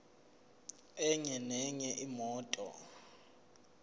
enye nenye imoto